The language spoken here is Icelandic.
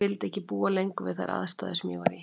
Ég vildi ekki lengur búa við þær aðstæður sem ég var í.